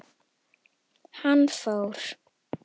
Hann fór.